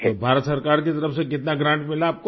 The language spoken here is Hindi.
तो भारत सरकार की तरफ से कितना ग्रांट मिला आपको